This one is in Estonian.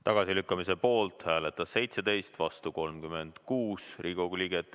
Tagasilükkamise poolt hääletas 17, vastu oli 36 Riigikogu liiget.